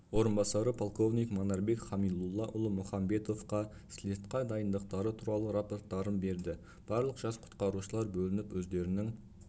орынбасары полковник манарбек хамилуллаұлы мұханбетовқа слетқа дайындықтары туралы рапорттарын берді барлық жас құтқарушылар бөлініп өздерінің